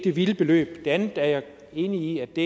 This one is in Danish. et vildt beløb jeg er enig i det